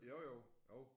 Jo jo jo